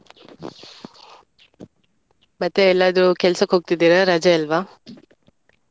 ಮತ್ತೆ ಎಲ್ಲಾದ್ರೂ ಕೆಲ್ಸಕ್ಕೆ ಹೋಗ್ತಿದ್ದೀರಾ ರಜೆ ಅಲ್ವಾ.